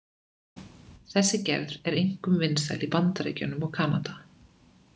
Þessi gerð er einkum vinsæl í Bandaríkjunum og Kanada.